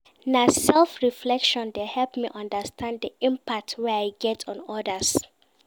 Na self-reflection dey help me understand di impact wey I get on odas.